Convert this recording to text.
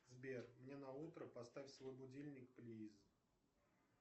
сбер мне на утро поставь свой будильник плиз